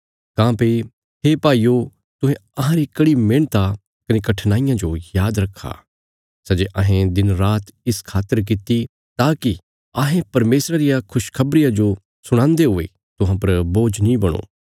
काँह्भई हे भाईयो तुहें अहांरी कड़ी मेहणता कने कठिनाईयां जो याद रखा सै जे अहें दिनरात इस खातर किति ताकि अहें परमेशरा रिया खुशखबरिया जो सुणान्दे हुये तुहां पर बोझ नीं बणो